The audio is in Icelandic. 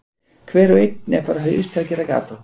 Hver og einn er bara haus til að gera gat á.